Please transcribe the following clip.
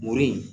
Mori